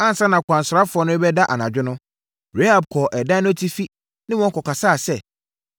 Ansa na akwansrafoɔ no rebɛda anadwo no, Rahab kɔɔ ɛdan no atifi ne wɔn kɔkasaeɛ sɛ,